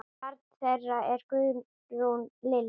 Barn þeirra er Guðrún Lillý.